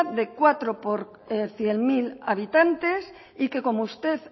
de cuatro por cien mil habitantes y que como usted